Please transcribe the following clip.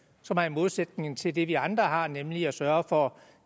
som er i modsætning til det vi andre har nemlig at sørge for